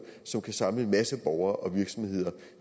som kan samle en masse borgere og virksomheder